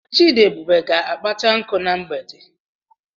Chidiebube ga-akpata nkụ na mgbede.